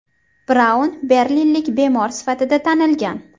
Braun berlinlik bemor sifatida tanilgan.